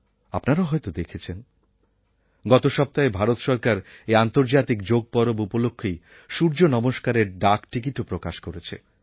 আপনারা হয়তো দেখেছেন গত সপ্তাহে ভারত সরকার এই আন্তর্জাতিক যোগ পরব উপলক্ষেই সূর্য নমস্কারএর এক ডাক টিকিটও প্রকাশ করেছে